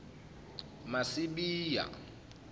masibiya